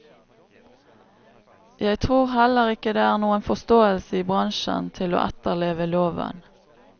Jeg tror heller ikke det er noen forståelse i bransjen til å etterleve loven.